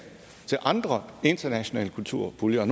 til andre internationale kulturpuljer og